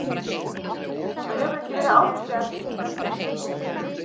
Það hefur ekki verið áhyggjuefni hingað til.